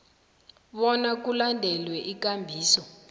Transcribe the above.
bona kulandelwe ikambiso